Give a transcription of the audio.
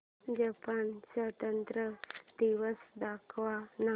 Japan स्वातंत्र्य दिवस दाखव ना